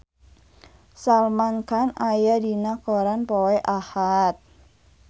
Salman Khan aya dina koran poe Ahad